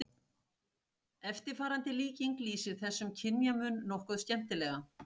Eftirfarandi líking lýsir þessum kynjamun nokkuð skemmtilega